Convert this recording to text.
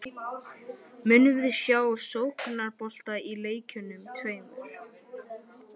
Munum við sjá sóknarbolta í leikjunum tveimur?